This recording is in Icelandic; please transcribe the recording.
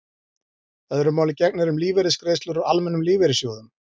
Öðru máli gegnir um lífeyrisgreiðslur úr almennum lífeyrissjóðum.